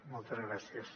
moltes gràcies